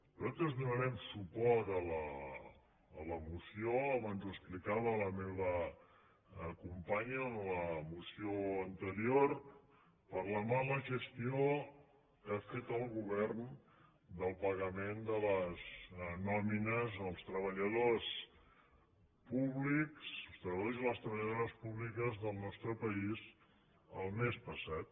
nosaltres donarem suport a la moció abans ho explicava la meva companya en la moció anterior per la mala gestió que ha fet el govern del pagament de les nòmines als treballadors públics i a les treballadores públiques del nostre país el mes passat